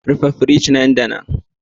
Rufe firij nan da nan